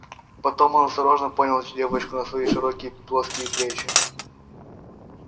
потом он осторожно понял девочку на свои широкие плоские плечи